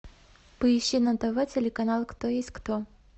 поищи на тв телеканал кто есть кто